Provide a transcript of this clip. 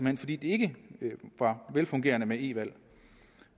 hen fordi det ikke var velfungerende med e valg